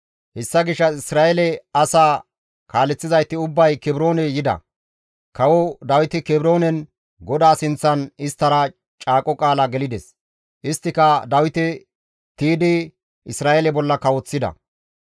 Hessa gishshas Isra7eele asaa kaaleththizayti ubbay Kebroone yida; kawo Dawiti Kebroonen GODAA sinththan isttara caaqo qaala gelides; isttika Dawite tiydi Isra7eele bolla kawoththida.